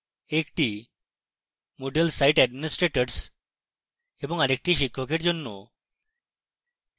একটি moodle site administrators এবং আরেকটি শিক্ষকের জন্য